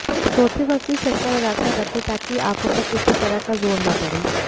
सोते वक्त भी चश्मा लगाकर रखें ताकि आंखों पर किसी तरह का जोर न पड़े